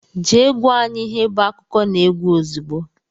Jee gwa anyị ihe bụ akụkọnaegwu ozigbo!!!!